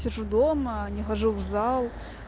сижу дома не хожу в зал